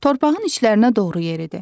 Torpağın içlərinə doğru yeridi.